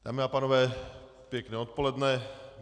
Dámy a pánové, pěkné odpoledne.